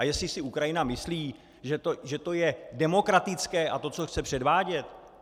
A jestli si Ukrajina myslí, že to je demokratické, a to, co chce předvádět...